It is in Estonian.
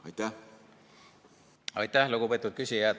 Aitäh, lugupeetud küsija!